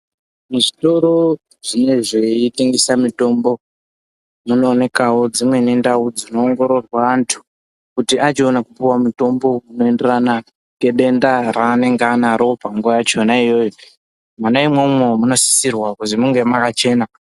Muzvitoro zvinezvei tengesa mitombo munoonekwavo dzimweni ndau dzinenge dzei ongororwa antu. Kuti achiona kupuva mutombo unoenderana nedenda raanenge anaro panguva yachona iyoyo. Mwona imwomwo munosisirwa kuzi munge makachena.